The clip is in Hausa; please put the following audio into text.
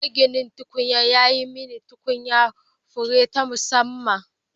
Maginin tukwane ya yi mani tukunyar fure ta musamman